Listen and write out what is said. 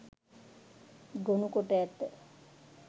ගොනුකොට ඇත.